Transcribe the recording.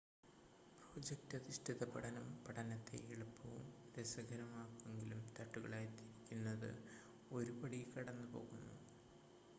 project അധിഷ്ഠിത പഠനം പഠനത്തെ എളുപ്പവും രസകരവുമാക്കുമെങ്കിലും തട്ടുകളായി തിരിക്കുന്നത് ഒരു പടി കടന്ന് പോകുന്നു